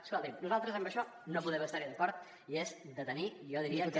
escolti’m nosaltres en això no podem estar hi d’acord i és de tenir jo diria que